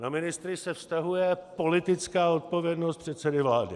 Na ministry se vztahuje politická odpovědnost předsedy vlády.